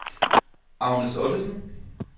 Agnes Ottesen